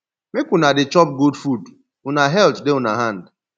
make una dey chop good food una health dey una hand